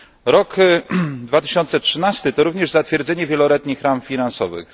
Rok 2013 to również zatwierdzenie wieloletnich ram finansowych.